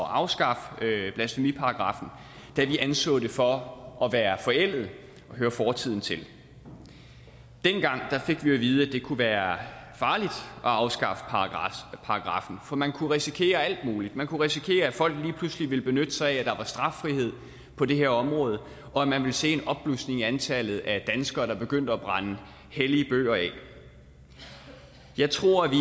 afskaffe blasfemiparagraffen da vi anså den for at være forældet og høre fortiden til dengang fik vi at vide at det kunne være farligt at afskaffe paragraffen for man kunne risikere alt muligt man kunne risikere at folk lige pludselig ville benytte sig af at der var straffrihed på det her område og at man ville se en opblussen af antallet af danskere der begyndte at brænde hellige bøger af jeg tror at vi